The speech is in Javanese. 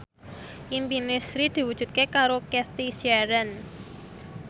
impine Sri diwujudke karo Cathy Sharon